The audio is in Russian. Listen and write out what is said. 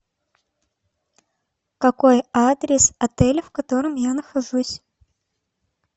какой адрес отеля в котором я нахожусь